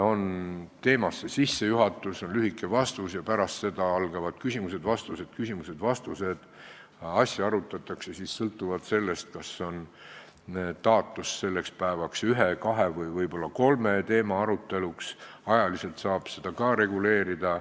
On sissejuhatus, on lühike vastus ja pärast seda algavad küsimused ja vastused, asja arutatakse sõltuvalt sellest, kas sellel päeval on taotletud ühe, kahe või võib-olla kolme teema arutelu, ajaliselt saab seda reguleerida.